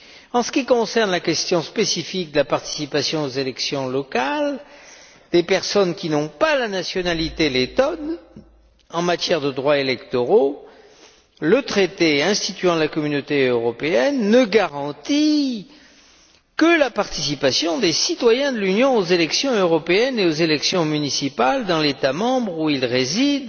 En ce qui concerne la question spécifique de la participation aux élections locales des personnes qui n'ont pas la nationalité lettonne, en matière de droits électoraux le traité instituant la Communauté européenne ne garantit que la participation des citoyens de l'Union aux élections européennes et aux élections municipales dans l'État membre où ils résident